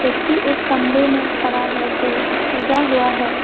व्यक्ति एक कमरे में खड़ा है जो सजा हुआ है।